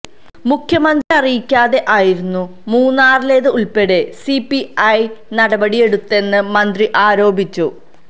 മുഖ്യമന്ത്രിയെ അറിയിക്കാതെ ആയിരുന്നു മൂന്നാറിലേത് ഉള്പ്പെടെ സിപിഐ നടപടിയെടുത്തതെന്ന് മന്ത്രി ആരോപിച്ചു